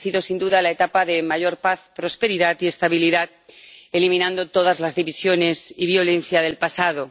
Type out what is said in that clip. Ha sido, sin duda, la etapa de mayor paz, prosperidad y estabilidad al eliminar todas las divisiones y violencia del pasado.